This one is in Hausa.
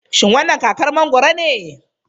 Shin wannan kakar mangoro ne?